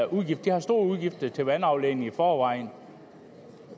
udgifter de har store udgifter til vandafledning i forvejen